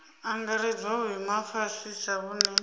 angaredzwa vhuimo ha fhasisa vhune